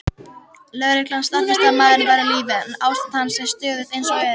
Lögreglan staðfesti að maðurinn væri á lífi, en ástand hans er stöðugt eins og er.